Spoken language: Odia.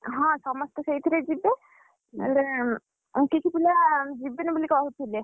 ହଁ ସମସ୍ତେ ସେଇଥିରେ ଯିବେ! ହେଲେ କିଛି ପିଲା ଯିବେନି ବୋଲି କହୁଥିଲେ।